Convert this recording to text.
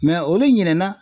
Mɛ olu ɲinɛna